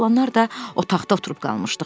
Biz oğlanlar da otaqda oturub qalmışdıq.